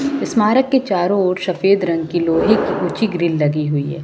स्मारक के चारों ओर सफेद रंग की लोहे की ऊंची ग्रील लगी हुई है।